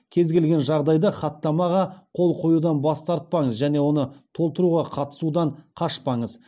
кез келген жағдайда хаттамаға қол қоюдан бас тартпаңыз және оны толтыруға қатысудан қашпаңыз